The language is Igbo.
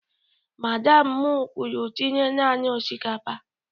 Madam m kwuru tinye naanị osikapa!